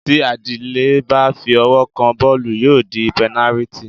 Tí Adílẹ́ bá fi ọwọ́ kan bọ́ọ̀lù, yóò di pẹnálítì.